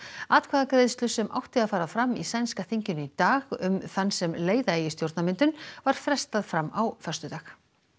atkvæðagreiðslu sem átti að fara fram í sænska þinginu í dag um þann sem leiða eigi stjórnarmyndun var frestað fram á föstudag